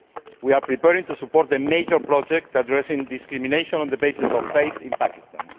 We are preparing to support a major project addressing discrimination on the basis of faith in Pakistan.